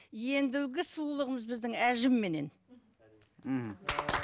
ендігі сұлулығымыз біздің әжімменен мхм